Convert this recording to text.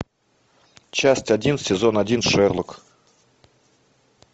часть один сезон один шерлок